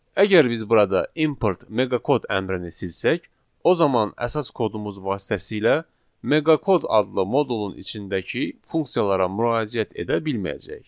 Əgər biz burada import meqa kod əmrini silsək, o zaman əsas kodumuz vasitəsilə meqa kod adlı modulun içindəki funksiyalara müraciət edə bilməyəcəyik.